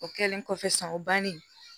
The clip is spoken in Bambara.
O kɛlen kɔfɛ sisan o bannen